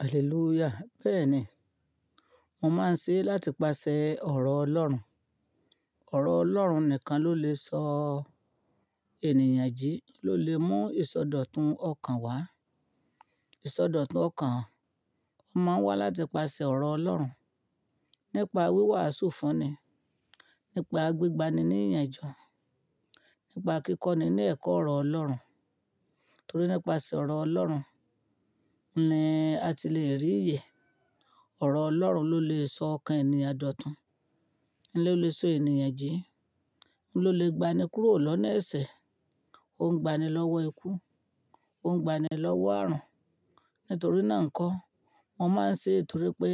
Hallelujah. Bẹ́ẹ̀ ni, mo máa ń ṣe láti pase ọ̀rọ̀ Ọlọ́run. Ọ̀rọ̀ Ọlọ́run nìkan ló lè sọ ènìyàn jí, ló lè mú ìsọdọ̀tun ọkàn wá. Ìsọdọ̀tun ọkàn, ó máa wá láti pase ọ̀rọ̀ Ọlọ́run nípa wíwàásù fúnni, nípa gbígba ni ní ìyànjú, nípa kíkọ́ni ní ẹ̀kọ́ ọ̀rọ̀ Ọlọ́run. Nítorí nípasẹ̀ ọ̀rọ̀ Ọlọ́run ni a ti le rí ìyè. Ọ̀rọ̀ Ọlọ́run ló lè sọ ọkàn ènìyàn dòtun, ló lè so ènìyàn jí, ló lè gba ni kúrò lọ́ni ẹ̀sẹ̀, ó ń gba ni lọ́wọ́ ikú, ó ń gba ni lọ́wọ́ ààrùn. Nítorí náà nkọ́, mo máa ń ṣe é torí pé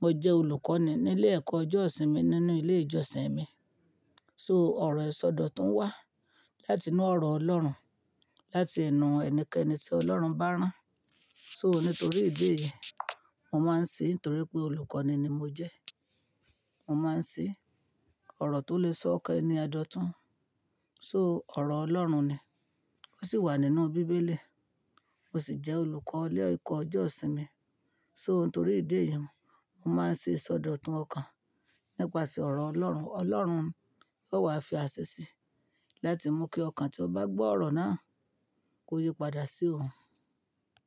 mo jẹ́ olùkọ́ni nílé ẹ̀kọ́ ọjọ́ ìsinmi nínú ilé ìjọsìn mi. So ọ̀rọ̀ ìsọdọ̀tun wá láti inú ọ̀rọ̀ Ọlọ́run, láti ẹnu ẹnikẹ́ni tí Ọlọ́run bá rán. So nítorí ìdí èyí, mo máa ń ṣe é ntorí pé olùkọ́ni ni mo jẹ́. Mo máa ń ṣe ọ̀rọ̀ tó lè sọ ọkàn ènìyàn dòtun. So ọ̀rọ̀ Ọlọ́run ni, ó sì wà nínú bíbélì. Mo sì jẹ́ olùkọ́ ilé ẹ̀kọ́ ọjọ́ ìsinmi. So nítorí ìdí èyí, mo máa ń ṣe ìsọdọ̀tun ọkàn nípasẹ̀ ọ̀rọ̀ Ọlọ́run. Ọlọ́run yóò wá fi a ṣe sí i, láti mú kí ọkàn tí ó bá gbọ́ ọ̀rọ̀ náà kó yípadà sí òun.